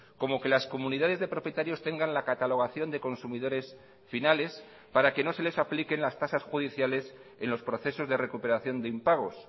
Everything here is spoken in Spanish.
como que las comunidades de propietarios tengan la catalogación de consumidores finales para que no se les apliquen las tasas judiciales en los procesos de recuperación de impagos